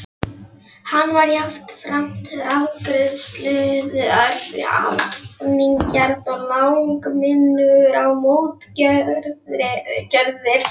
Hann var jafnframt refsiglaður, hefnigjarn og langminnugur á mótgjörðir.